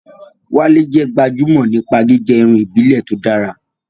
Wale jẹ́ gbajúmọ̀ nípa gígẹ irun ìbílẹ̀ tó dára.